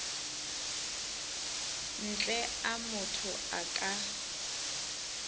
ntle a motho a ka